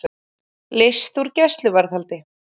Leyst úr gæsluvarðhaldi